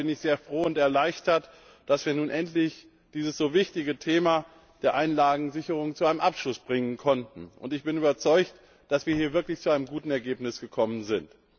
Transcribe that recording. Daher bin ich sehr froh und erleichtert darüber, dass wir dieses so wichtige Thema der Einlagensicherung nun endlich zu einem Abschluss bringen konnten. Ich bin davon überzeugt, dass wir hier wirklich zu einem guten Ergebnis gekommen sind.